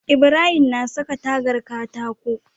Ibrahim na saka tagar katako